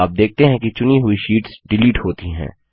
आप देखते हैं कि चुनी हुई शीट्स डिलीट होती हैं